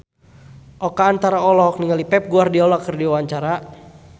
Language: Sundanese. Oka Antara olohok ningali Pep Guardiola keur diwawancara